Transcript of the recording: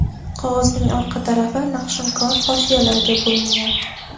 Qog‘ozning orqa tarafi naqshinkor hoshiyalarga bo‘lingan.